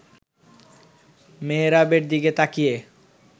মেহরাবের দিকে তাকিয়ে